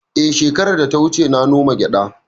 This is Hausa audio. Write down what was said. Eh, shekara da ta wuce na noma gyada